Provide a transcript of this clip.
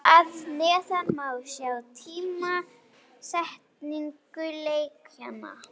Hér að neðan má sjá tímasetningu leikjanna.